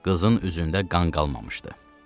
Qızın üzündə qan qalmamışdı.